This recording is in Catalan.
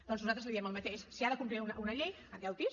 doncs nosaltres li diem el mateix si ha de complir una llei endeuti’s